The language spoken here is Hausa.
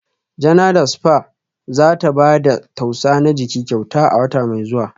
Janada spa za ta ba da tausa na jiki kyauta a wata mai zuwa